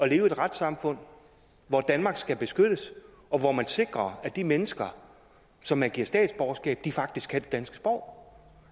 i et retssamfund hvor danmark skal beskyttes og hvor man sikrer at de mennesker som man giver statsborgerskab faktisk kan det danske sprog